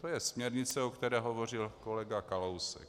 To je směrnice, o které hovořil kolega Kalousek.